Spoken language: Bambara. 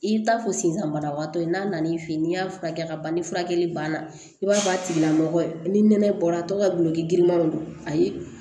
I bɛ taa fɔ sensan banabagatɔ ye n'a n'i fɛ yen n'i y'a furakɛ ka ban ni furakɛli banna i b'a fɔ a tigilamɔgɔ ye ni nɛnɛ bɔra tɔw ka bolokirimanw don ayi